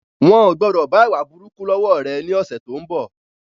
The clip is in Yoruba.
Wọn o gbọdọ̀ bá ìwà burúkú lọ wọ rẹ ni ọ̀sẹ̀ tó ń bọ̀